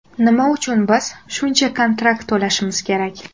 Nima uchun biz shuncha kontrakt to‘lashimiz kerak?